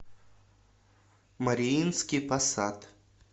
мариинский посад